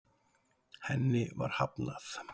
Henni var hafnað.